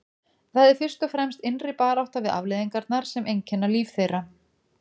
Það er fyrst og fremst innri barátta við afleiðingarnar sem einkenna líf þeirra.